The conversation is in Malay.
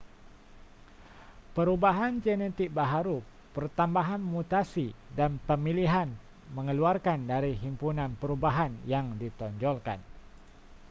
perubahan genetik baharu pertambahan mutasi dan pemilihan mengeluarkan dari himpunan perubahan yang ditonjolkan